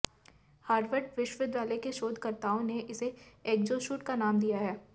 Harvard विश्वविद्यालय के शोधकर्ताओं ने इसे एग्जोसूट का नाम दिया है